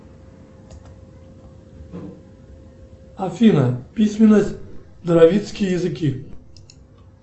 афина письменность доровитские языки